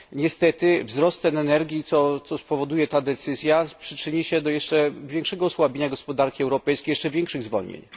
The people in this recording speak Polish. Niestety, wzrost cen energii, jaki spowoduje ta decyzja, przyczyni się do jeszcze większego osłabienia gospodarki europejskiej i jeszcze większych zwolnień.